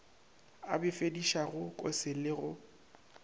a befedišago kose le go